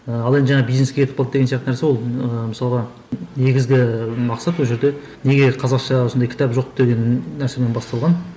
ыыы ал енді жаңа бизнеске кетіп қалды деген сияқты нәрсе ол ыыы мысалға негізгі мақсат ол жерде неге қазақша осындай кітап жоқ деген нәрсемен басталған